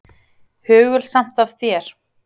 Hugulsamt af þér.